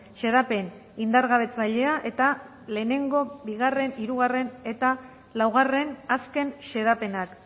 xedapen indargabetzailea eta lehenengo bigarren hirugarren eta laugarren azken xedapenak